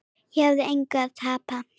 Ég hafði engu að tapa.